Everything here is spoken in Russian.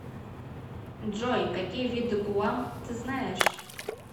джой какие виды гуам ты знаешь